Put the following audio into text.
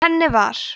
í henni var